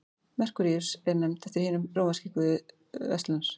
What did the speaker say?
merkúríus er nefnd eftir hinum rómverska guði verslunar